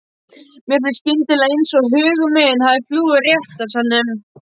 Mér finnst skyndilega einsog hugur minn hafi flúið úr réttarsalnum.